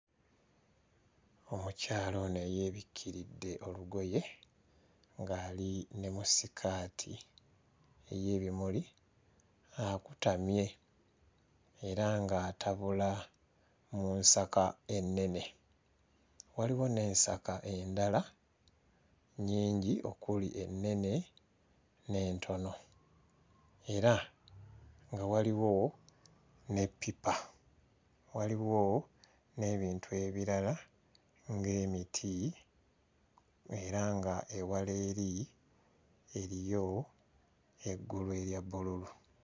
Omukyala ono eyeebikiridde olugoye ng'ali ne mu sikaati ey'ebimuli akutamye era ng'atabula mu nsaka ennene. Waliwo n'ensaka endala nnyingi okuli ennene n'entono era nga waliwo ne ppipa. Waliwo n'ebintu ebirala ng'emiti era ng'ewala eri eriyo eggulu erya bbululu.